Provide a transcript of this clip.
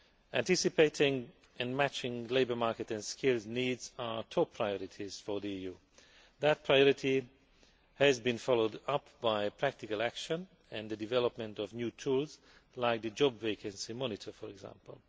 Anticipating and matching labour market and skills needs are a top priority for the EU. That priority has been followed up by practical action and the development of new tools like the Job Vacancy Monitor for example.